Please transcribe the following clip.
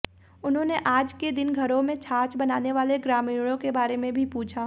उन्होंने आज के दिन घरों में छाछ बनाने वाले ग्रामीणों के बारे में भी पूछा